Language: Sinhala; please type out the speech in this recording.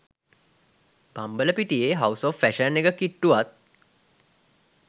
බම්බලපිටියෙ හවුස් ඔෆ් ෆැශන් එක කිට්ටුවත්